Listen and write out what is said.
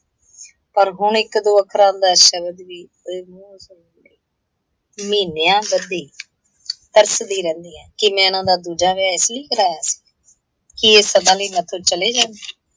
ਪਰ ਹੁਣ ਇੱਕ ਦੋ ਅੱਖਰਾਂ ਦਾ ਸ਼ਬਦ ਵੀ ਉਹਦੇ ਮੂੰਹ ਚੋਂ ਮਹੀਨਿਆਂ ਬੱਧੀ ਤਰਸਦੀ ਰਹਿਨੀ ਆਂ। ਕੀ ਮੈਂ ਇਹਨਾ ਦਾ ਦੂਜਾ ਵਿਆਹ ਇਸ ਲਈ ਕਰਵਾਇਆ ਸੀ ਕਿ ਇਹ ਸਦਾ ਲਈ ਮੇਰੇ ਤੋਂ ਚਲੇ ਜਾਣ?